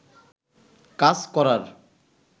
কাজ করার